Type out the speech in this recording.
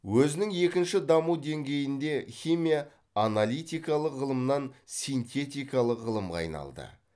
өзінің екінші даму деңгейінде химия аналитикалық ғылымнан синтетикалық ғылымға айналды